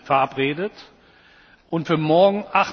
verabredet und für morgen,